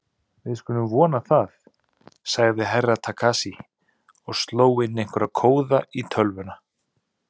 Við skulum vona það, sagði Herra Takashi og sló inn einhverja kóða í tölvuna.